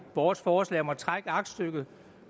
vores forslag om at trække aktstykket